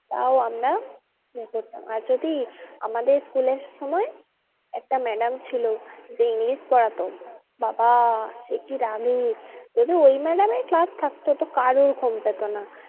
তাও আমরা করতাম আর যদি আমাদের school এর সময় একটা madam ছিল যে english পড়াতো বাবা সে কি রাগি যদি ওই madam এর class থাকতো তো কারো ঘুম পেতো না।